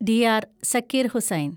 DR. Zakir Hussain